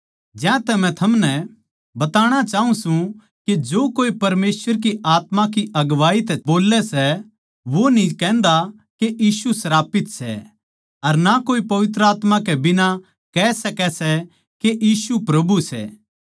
ज्यांतै मै थमनै बताणा चाऊँ सूं के जो कोए परमेसवर की आत्मा की अगुवाई तै बोल्लै सै वो न्ही कहन्दा के यीशु श्रापित सै अर ना कोए पवित्र आत्मा कै बिना कह सकै सै के यीशु प्रभु सै